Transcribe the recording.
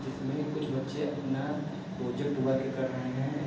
जिसमें कुछ बच्चे अपना प्रोजेक्ट वर्क कर रहे हैं।